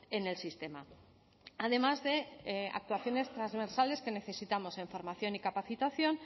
en el sistema además de actuaciones transversales que necesitamos en formación y capacitación